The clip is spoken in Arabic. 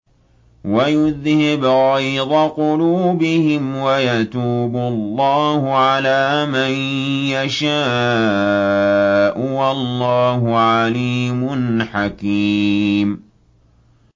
وَيُذْهِبْ غَيْظَ قُلُوبِهِمْ ۗ وَيَتُوبُ اللَّهُ عَلَىٰ مَن يَشَاءُ ۗ وَاللَّهُ عَلِيمٌ حَكِيمٌ